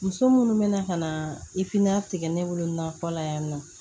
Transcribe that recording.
Muso minnu bɛna ka na ifiinilatigɛ ne wolo na bala yan nɔ